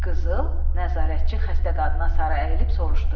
Qızıl, nəzarətçi xəstə qadına sarı əyilib soruşdu.